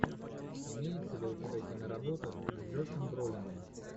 имеется ли у тебя киноработа с джошем бролином